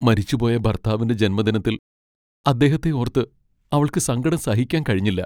മരിച്ചുപോയ ഭർത്താവിന്റെ ജന്മദിനത്തിൽ അദ്ദേഹത്തെ ഓർത്ത് അവൾക്ക് സങ്കടം സഹിക്കാൻ കഴിഞ്ഞില്ല.